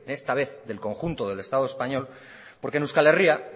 esta vez del conjunto del estado español porque en euskal herria